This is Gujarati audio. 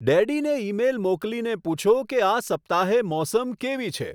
ડેડીને ઈમેઈલ મોકલીને પૂછો કે આ સપ્તાહે મોસમ કેવી છે